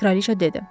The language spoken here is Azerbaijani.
Kraliçə dedi: